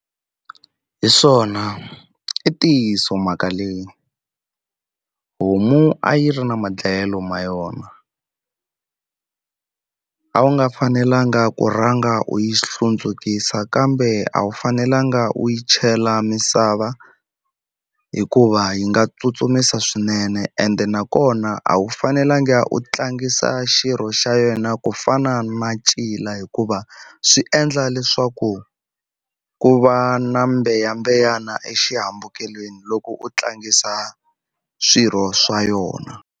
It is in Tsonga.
Hi swona i ntiyiso mhaka leyi homu a yi ri na ma dlayelo ma yona a wu nga fanelanga ku rhanga u yi hlundzukisa kambe a wu fanelanga u yi chela misava hikuva yi nga tsutsumisa swinene ende nakona a wu fanelanga u tlangisa xirho xa yena ku fana na ncila hikuva swi endla leswaku ku va na mbeyambeya exihambukelweni loko u tlangisa swirho swa yona.